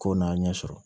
Ko n'a ɲɛ sɔrɔ